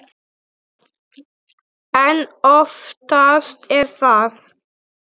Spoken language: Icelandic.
En oftast er það